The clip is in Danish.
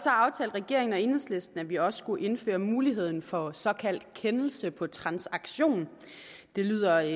regeringen og enhedslisten at vi også skulle indføre muligheden for såkaldt kendelse på transaktion det lyder